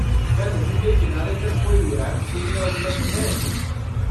क्या नदी के किनारे तक कोई रैंप सुविधा उपलब्ध है?